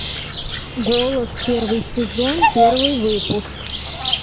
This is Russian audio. голос первый сезон первый выпуск